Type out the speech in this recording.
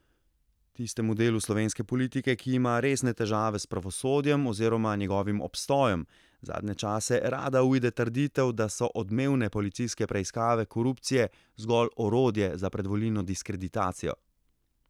Tistemu delu slovenske politike, ki ima resne težave s pravosodjem oziroma njegovim obstojem, zadnje čase rada uide trditev, da so odmevne policijske preiskave korupcije zgolj orodje za predvolilno diskreditacijo.